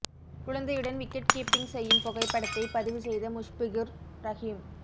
குழந்தையுடன் wicket keeping செய்யும் புகைப்படத்தை பதிவு செய்த முஷ்பிகுர் ரஹிம்